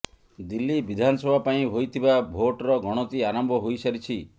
ଦିଲ୍ଲୀ ବିଧାନସଭା ପାଇଁ ହୋଇଥିବା ଭୋଟର ଗଣତି ଆରମ୍ଭ ହୋଇସାରିଛି